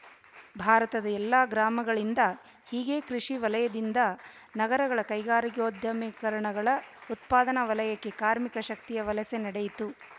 ಭಾರತದ ಎಲ್ಲಾ ಗ್ರಾಮಗಳಿಂದ ಹೀಗೆ ಕೃಷಿ ವಲಯದಿಂದ ನಗರಗಳ ಕೈಗಾರಿಕೋದ್ಯಮಗಳ ಉತ್ಪಾದನಾ ವಲಯಕ್ಕೆ ಕಾರ್ಮಿಕ ಶಕ್ತಿಯ ವಲಸೆ ನಡೆಯಿತು